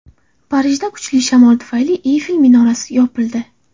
Parijda kuchli shamol tufayli Eyfel minorasi yopildi.